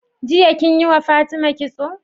Jiya kinyi wa fatima kitso?